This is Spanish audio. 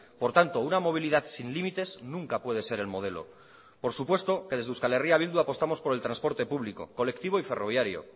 por tanto una movilidad sin límites nunca puede ser el modelo por supuesto que desde euskal herria bildu apostamos por el transporte público colectivo y ferroviario